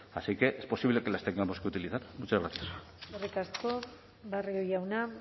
así que es posible que las tengamos que utilizar muchas gracias eskerrik asko barrio jauna